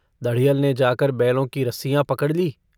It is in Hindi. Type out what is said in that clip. दढ़ियल ने जाकर बैलों की रस्सियाँ पकड़ ली।